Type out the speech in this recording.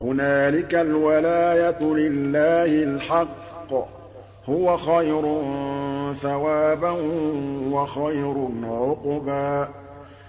هُنَالِكَ الْوَلَايَةُ لِلَّهِ الْحَقِّ ۚ هُوَ خَيْرٌ ثَوَابًا وَخَيْرٌ عُقْبًا